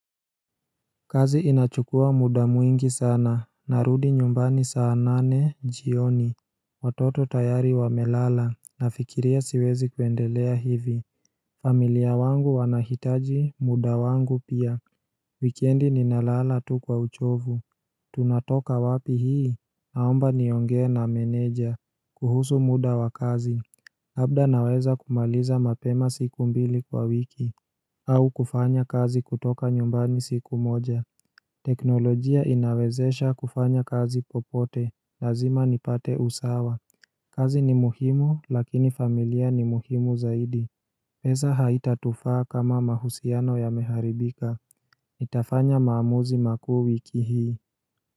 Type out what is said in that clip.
Kazi inachukua muda mwingi sana, narudi nyumbani saa nane jioni Watoto tayari wamelala, nafikiria siwezi kuendelea hivi familia wangu wanahitaji, muda wangu pia Wikendi ninalala tu kwa uchovu Tunatoka wapi hii? Naomba niongee na meneja kuhusu muda wa kazi Labda naweza kumaliza mapema siku mbili kwa wiki au kufanya kazi kutoka nyumbani siku moja teknolojia inawezesha kufanya kazi popote Lazima nipate usawa kazi ni muhimu lakini familia ni muhimu zaidi pesa haitatufaa kama mahusiano yameharibika Nitafanya maamuzi makuu wiki hii.